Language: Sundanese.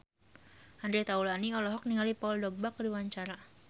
Andre Taulany olohok ningali Paul Dogba keur diwawancara